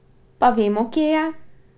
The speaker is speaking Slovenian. Pa vemo, kje je?